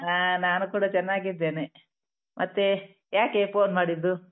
ಹಾ ನಾನು ಕೂಡ ಚೆನ್ನಾಗಿದ್ದೇನೆ ಮತ್ತೇ ಯಾಕೆ phone ಮಾಡಿದ್ದು?